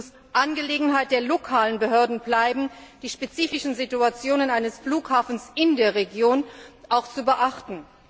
Es muss Angelegenheit der lokalen Behörden bleiben, die spezifische Situation eines Flughafens in der Region zu beachten.